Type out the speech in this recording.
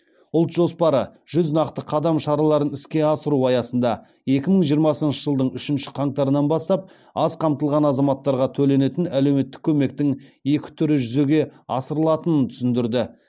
ұлт жоспары жүз нақты қадам шараларын іске асыру аясында екі мың жиырмасыншы жылдың үшінші қаңтарынан бастап аз қамтылған азаматтарға төленетін әлеуметтік көмектің екі түрі жүзеге асырылатынын түсіндірді